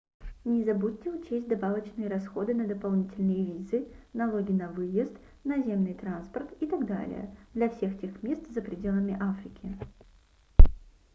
не забудьте учесть добавочные расходы на дополнительные визы налоги на выезд наземный транспорт и т д для всех тех мест за пределами африки